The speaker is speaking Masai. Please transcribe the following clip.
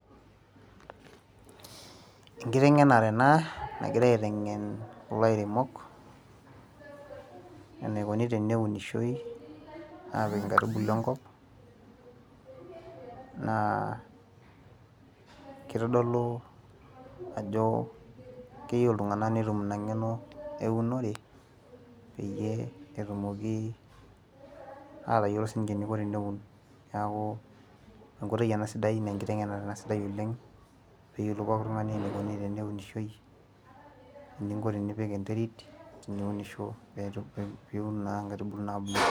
enkitengenare ena naigirae eitengen kulo airemok, enikoni tenunishoi aapik kuna aitubulu enkop, naa kitodolu ajo keyieu iltungan netum ina ng''eno eunore peyie etumooki aatayiolo si ninche eneiko teneun. nee enkoitoi ena sidai naa enkiteng'enare ena sidai oleng, pee eyiolou pooki tungani eneikoni teneunishoi, eninko tenipik enterit eninko teniunisho pee itum naa nkaitubulu nabulu.